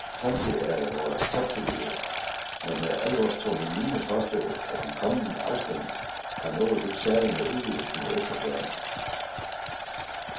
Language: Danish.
Samtlige af vore toppolitikere har med alvorstunge miner påstået, at den kommende afstemning har noget helt særligt med udvidelsen mod øst at gøre.